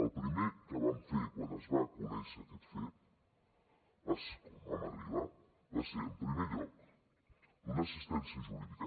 el primer que vam fer quan es va conèixer aquest fet quan vam arribar va ser en primer lloc donar assistència jurídica